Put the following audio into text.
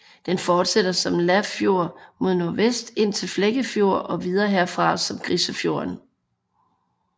Den fortsætter som Lafjord mod nordvest ind til Flekkefjord og videre herfra som Grisefjorden